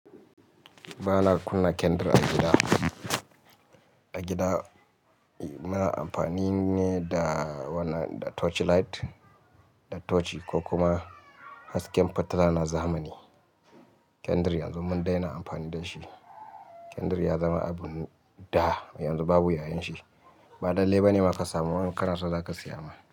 Ba na kunna kendir a gida. A gida muna amfani ne da wanan torch light, da tochi ko kuma hasken fitila na zamani. Kendir yanzu mun daina amfani da shi. Kendir ya zama abu da yanzu babu yayanshi. Ba lallai ba ne ma ka samu, in ka naso za ka saya ma.